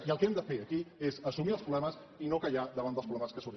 i el que hem de fer aquí és assumir els problemes i no callar davant dels problemes que sorgeixen